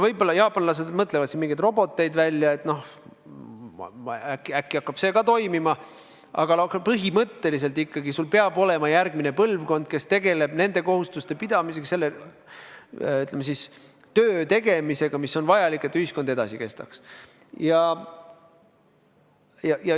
Võib-olla jaapanlased mõtlevad mingeid roboteid välja, äkki hakkab see toimima, aga põhimõtteliselt ikkagi peab olema järgmine põlvkond, kes tegeleb nende kohustuste täitmisega, selle, ütleme siis, töö tegemisega, mis on vajalik, et ühiskond edasi kestaks.